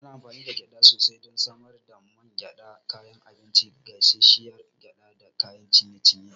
Ana amfani da gyada sosai don samar da man gyada, kayan abinci, gasasshiyar gyada da kayan ciye-ciye.